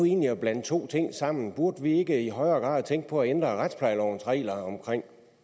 egentlig at blande to ting sammen burde vi ikke i højere grad tænke på at ændre retsplejelovens regler omkring